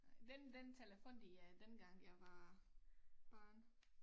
Den den telefon de øh dengang jeg var barn